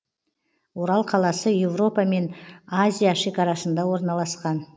орал қаласы европа мен азия шекарасында орналасқан